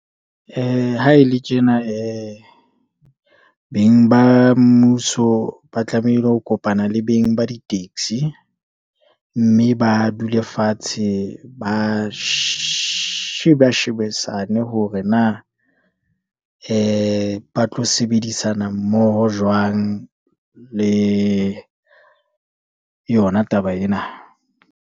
Ha e le tjena, beng ba mmuso ba tlamehile ho kopana le beng ba ditaxi, mme ba dule fatshe ba shebisane hore na, ba tlo sebedisana mmoho jwang, le yona taba ena.